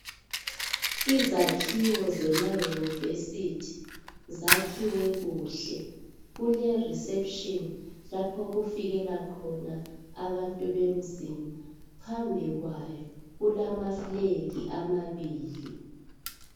Izakhiwo zema university zakhiwe kuhle kule reception lapho okufikela khona abantu bemzini phambi kwayo kulama flag amabili